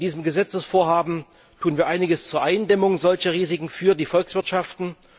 Mit diesem Gesetzesvorhaben tun wir einiges zur Eindämmung solcher Risiken für die Volkswirtschaften.